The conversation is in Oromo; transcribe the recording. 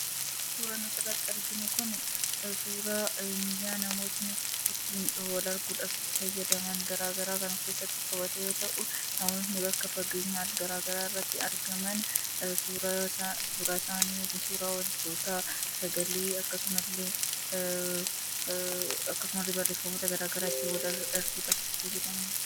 Suuraan asirratti arginu kun suuraa miidiyaa namoonni uttiin wal arguudhaaf itti fayyadaman gara garaa kan of keessatti qabatu yoo ta’u, hawwaasni bakka fageenyaa gara garaa irratti argaman suuraa isaanii, sagalee akkasumas illee barreeffamoota gara garaa option walii erguudhaaf kan itti fayyadamani.